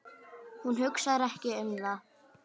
Hún hugsar ekki um það.